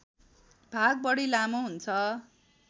भाग बढी लामो हुन्छ